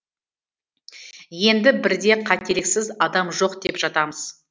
енді бірде қателіксіз адам жоқ деп жатамыз